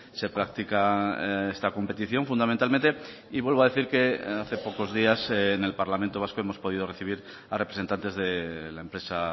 se practica esta competición fundamentalmente y vuelvo a decir que hace pocos días en el parlamento vasco hemos podido recibir a representantes de la empresa